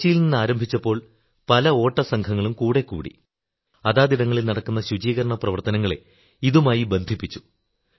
കൊച്ചിയിൽ നിന്നാരംഭിച്ചപ്പോൾ പല ഓട്ടസംഘങ്ങളും കൂടെ കൂടി അതാതിടങ്ങളിൽ നടക്കുന്ന ശുചീകരണ പ്രവർത്തനങ്ങളെ ഇതുമായി ബന്ധിപ്പിച്ചു